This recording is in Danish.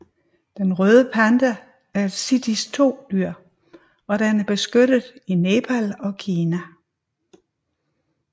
Den røde panda er et CITES II dyr og den er beskyttet i Nepal og Kina